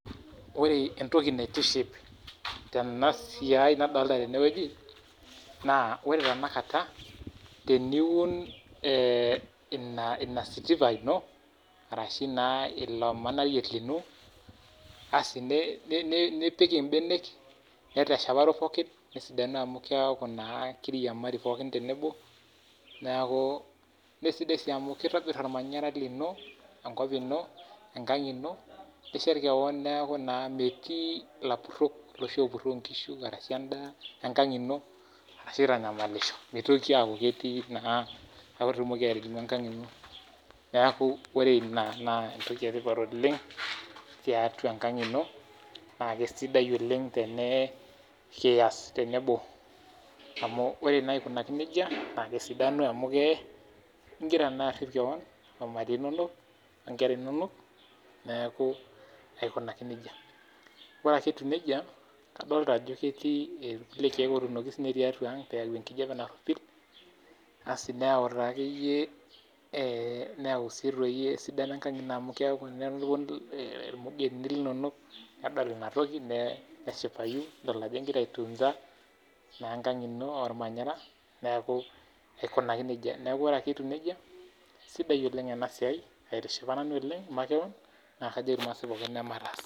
Oore entoki naitiship teena siai nadoolta teene wueji naa iyiolo tenakata, teniun iilo siripa lino araki naa iilo manarei liino, nipik imbenek, nesidanu amuu kiaku naa keiriamari pooki tenebo, naa sidai sii amuu keitobir ormanyara lino, enkop iino, enkang iino nishet keon amuu kiaku metii ilapurok iloshi opuroo inkishu arashu en'daa enkang iino arashu aitanyamalisho meitoki aaku ketii naa. Niaku oore iina naa enbaye sidai oleng tiatua enkang' iino naa kesidai oleng tenekias tenebo amuu oore naa aikunaki nejia naa kesidanu amuu kiaku naa igira arip keon ormarei lino. Etii sii irkeek otuunoki sininche tiatua ang' peyie eyau enkijape naropil naa tenponu ilomon linonok neshipa irmugenini linonok amuu kedol aajo igira aitunza ormanyara niaku kajoki irmaasae pooki emataas.